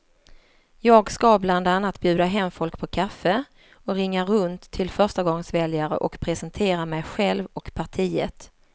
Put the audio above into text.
Jag ska bland annat bjuda hem folk på kaffe och ringa runt till förstagångsväljare och presentera mig själv och partiet.